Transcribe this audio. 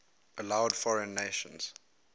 allowed foreign nations